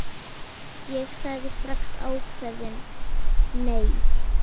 Ég sagði strax ákveðið nei.